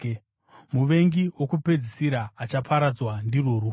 Muvengi wokupedzisira achaparadzwa ndirwo rufu.